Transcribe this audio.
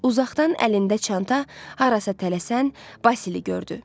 Uzaqdan əlində çanta, harasa tələsən Vasili gördü.